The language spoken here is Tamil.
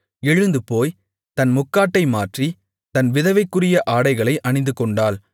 எழுந்துபோய் தன் முக்காட்டை மாற்றி தன் விதவைக்குரிய ஆடைகளை அணிந்துகொண்டாள்